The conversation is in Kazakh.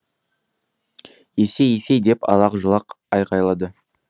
есей есей деп алақ жұлақ айғайлады